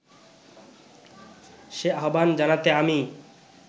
সে আহ্বান জানাতে আমি